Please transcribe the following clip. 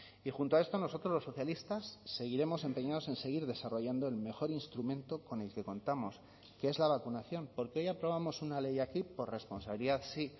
y junto a esto nosotros los socialistas seguiremos empeñados en seguir desarrollando el mejor instrumento con el que contamos que es la vacunación porque hoy aprobamos una ley aquí por responsabilidad sí